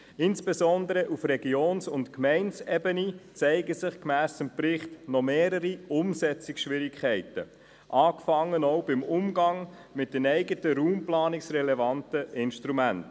Insbesondere auf der Ebene der Gemeinden und Regionen zeigen sich gemäss Bericht noch mehrere Umsetzungsschwierigkeiten, angefangen beim Umgang mit den eigenen raumplanungsrelevanten Instrumenten.